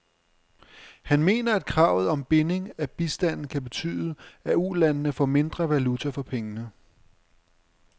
Han mener, at kravet om binding af bistanden kan betyde, at ulandene får mindre valuta for pengene.